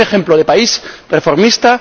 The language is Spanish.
Un ejemplo de país reformista.